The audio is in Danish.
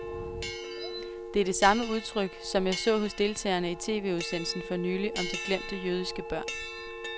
Det er det samme udtryk, som jeg så hos deltagerne i tv-udsendelsen for nylig om de glemte jødiske børn.